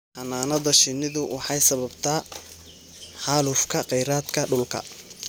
Xannaanada shinnidu waxay sababtaa xaalufka kheyraadka dhulka.